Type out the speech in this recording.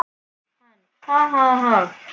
Hann: Ha ha ha.